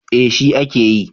Eh shi a ke yi